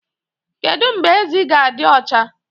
Kedu mgbe ezi ga-adị ọcha?